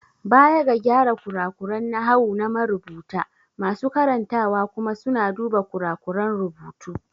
Baya ga gyara kurakuran nahawu na marubuta, masu karantawa kuma suna duba kurakuran rubutu.